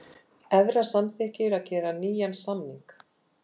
Evra samþykkir að gera nýjan samning